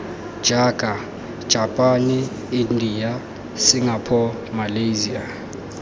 jaaka japane india singapore malyasia